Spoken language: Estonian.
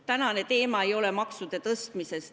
Tänane teema ei ole maksude tõstmine.